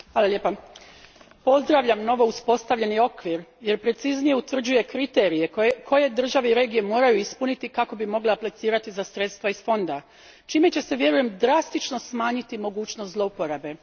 Gospođo predsjednice, pozdravljam novouspostavljeni okvir jer preciznije utvrđuje kriterije koje države i regije moraju ispuniti kako bi mogle aplicirati za sredstva iz fonda, čime će se, vjerujem, drastično smanjiti mogućnost zloporabe.